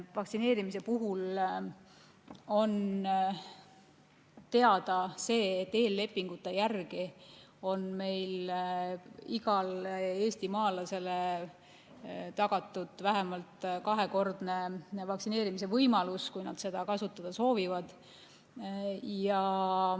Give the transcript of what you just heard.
Vaktsineerimise puhul on teada see, et eellepingute järgi on meil igale eestimaalasele tagatud vähemalt kahekordne vaktsineerimise võimalus, kui nad seda kasutada soovivad.